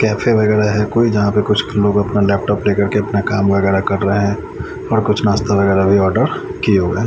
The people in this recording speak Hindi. कैफे वगैरा है कोई जहां पे कुछ लोग अपना लैपटॉप लेकर के अपना काम वगैरा कर रहे है और कुछ नाश्ता वगैरा भी ऑर्डर किए हुए--